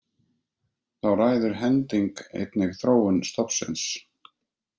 Þá ræður hending einnig þróun stofnsins.